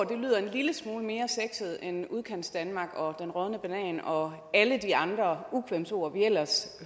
lille smule mere sexet end udkantsdanmark og den rådne banan og alle de andre ukvemsord vi ellers